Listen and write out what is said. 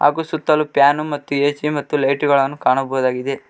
ಹಾಗೂ ಸುತ್ತಲು ಪ್ಯಾನುಮತ್ತು ಎ_ಸಿ ಮತ್ತು ಲೈಟುಗಳನ್ನು ಕಾಣಬಹುದಾಗಿದೆ.